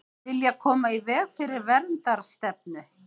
Vilja koma í veg fyrir verndarstefnu